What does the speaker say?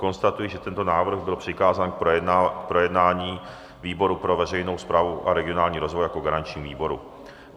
Konstatuji, že tento návrh byl přikázán k projednání výboru pro veřejnou správu a regionální rozvoj jako garančnímu výboru.